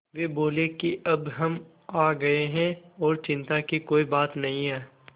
वे बोले कि अब हम आ गए हैं और चिन्ता की कोई बात नहीं है